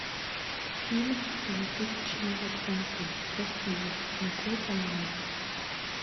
фильм двух тысячно двадцатый россия смотреть онлайн